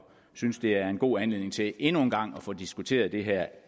synes det er en god anledning til endnu en gang at få diskuteret det her